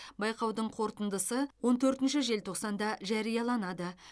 байқаудың қорытындысы он төртінші желтоқсанда жарияланады